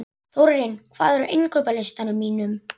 Þórarinn, hvað er á innkaupalistanum mínum?